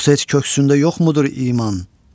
Yoxsa heç köksündə yoxmudur iman?